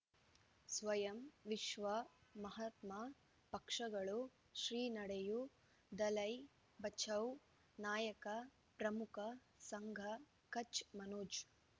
ಸ್ವಯಂ ವಿಶ್ವ ಮಹಾತ್ಮ ಪಕ್ಷಗಳು ಶ್ರೀ ನಡೆಯೂ ದಲೈ ಬಚೌ ನಾಯಕ ಪ್ರಮುಖ ಸಂಘ ಕಚ್ ಮನೋಜ್